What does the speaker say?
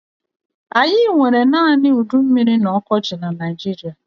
Anyị nwere naanị udummiri na ọkọchị na Naijiria.